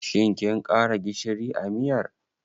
Shin kin ƙara gishiri a miyar?